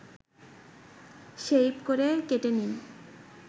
shape করে কেটে নিন